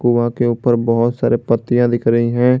कुआँ के ऊपर बहुत सारे पत्तियां दिख रही हैं।